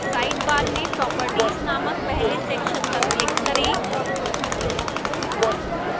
sidebar में properties named पहले section पर click करें